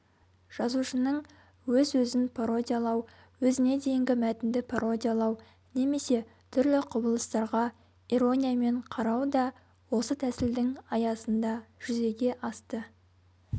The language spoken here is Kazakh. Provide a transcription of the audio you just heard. жазушының өз-өзін пародиялау өзіне дейінгі мәтінді пародиялау немесе түрлі құбылыстарға ирониямен қарау да осы тәсілдің аясында жүзеге асты